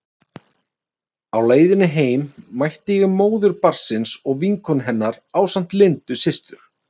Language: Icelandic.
Á leiðinni heim mætti ég móður barnsins og vinkonu hennar ásamt Lindu systur.